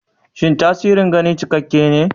Shin tasirin gani cikakke ne?